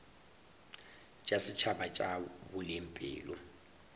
tša setšhaba tša boleng pele